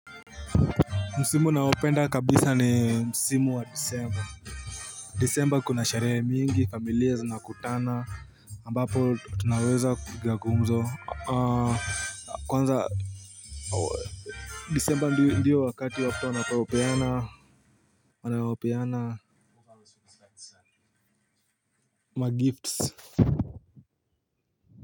Msimu naopenda kabisa ni msimu wa Disemba. Disemba kuna sherehe mingi familiya zinakutana ambapo tunaweza kupiga gumzo Kwanza Disemba ndiyo ndiyo wakati watu wanapopeana Wanaopeana Magifts.